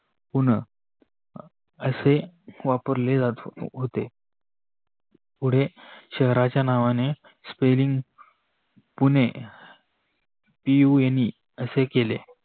पुणे असे वपरले जात होते. पुढे शहराच्या नावाने Spelling पुणे Pune असे केले.